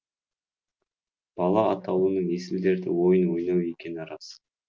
бала атаулының есіл дерті ойын ойнау екені рас